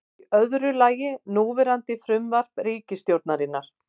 Í öðru lagi núverandi frumvarp ríkisstjórnarinnar